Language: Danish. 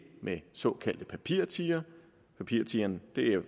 med en såkaldt papirtiger papirtigeren